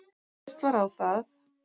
Fallist var á það